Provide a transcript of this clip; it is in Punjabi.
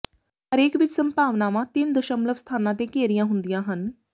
ਹਰੇਕ ਵਿੱਚ ਸੰਭਾਵਨਾਵਾਂ ਤਿੰਨ ਦਸ਼ਮਲਵ ਸਥਾਨਾਂ ਤੇ ਘੇਰੀਆਂ ਹੁੰਦੀਆਂ ਹਨ